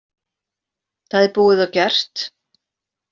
Það er búið og gert!